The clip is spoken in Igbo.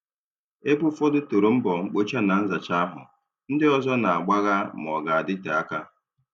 Ebe ụfọdụ toro mbọ mkpocha na nzacha ahụ, ndị ọzọ Na-agbagha ma ọ ga-adịte aka.